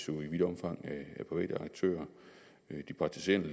jo i vidt omfang af private aktører de praktiserende